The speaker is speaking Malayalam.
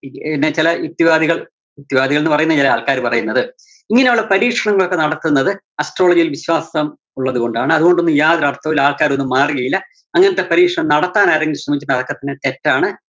ഉം ചെല യുക്തിവാദികള്‍ യുക്തിവാദികള്‍ന്ന് പറയുന്ന ചെല ആള്‍ക്കാര് പറയുന്നത് ഇങ്ങനെയുള്ള പരീക്ഷണങ്ങളൊക്കെ നടത്തുന്നത് astrology യില്‍ വിശ്വാസം ഉള്ളതുകൊണ്ടാണ്, അതുകൊണ്ടൊന്നും യാതൊരര്‍ത്ഥവും ആള്‍ക്കാരൊന്നും മാറുകയില്ല അങ്ങനത്തെ പരീക്ഷണം നടത്താന്‍ ആരെങ്കിലും ശ്രമിച്ചാല്‍ അതൊക്കെത്തന്നെ തെറ്റാണ്